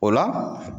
O la